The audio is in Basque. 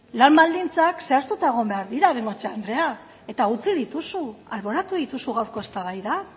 lan baldintzak zehaztuta egon behar dira bengoechea andrea eta utzi dituzu alboratu dituzu gaurko eztabaidan